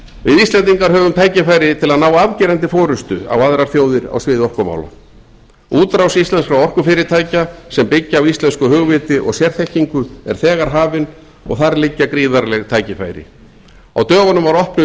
við íslendingar höfum tækifæri til að ná afgerandi forustu á aðrar þjóðir á sviði orkumála útrás íslenskra orkufyrirtækja sem byggja á íslensku hugviti og sérþekkingu er þegar hafin og þar liggja gríðarleg tækifæri á dögunum var opnuð